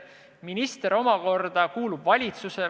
Minister omakorda kuulub valitsusse.